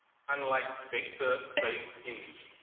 unlike vector based image